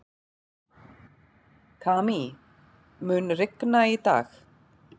Kamí, mun rigna í dag?